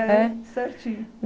certinho.